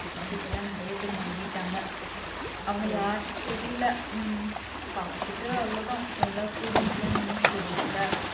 இப்ப எல்லாம் நிறைய பேர் மாறிட்டாங்க அவங்க யார்னு தெரியலே உம் பாத்துட்டு அவ்வளவுதான் எல்லா students எல்லாம் new students ல